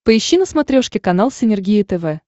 поищи на смотрешке канал синергия тв